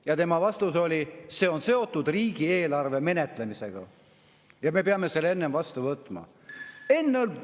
Ja tema vastus oli: see on seotud riigieelarve menetlemisega, me peame selle enne vastu võtma.